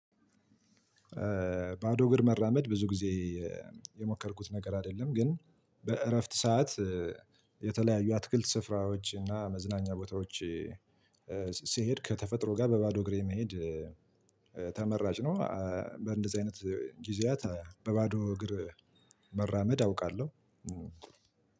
ባዶ እግር መራመድ ብዙ ጊዜ የሞከርኩት ነገር አይደለም ግን በእረፍት ሰዓት የተለያዩ አትክልት ስፍራዎች እና መዝናኛ ቦታዎች። ስሄድ ከተፈጥሮ ጋር በባዶ እግሬ መሄድ ተመራጭ ነው። በእንደዚህ አይነት ጊዜያት በባዶ እግር መራመድ አውቃለሁ።